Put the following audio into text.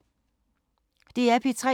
DR P3